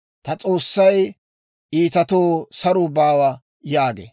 Ta S'oossay, «Iitatoo saruu baawa» yaagee.